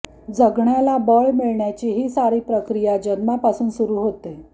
जगण्याला बळ मिळण्याची ही सारी प्रक्रिया जन्मापासून सुरू होते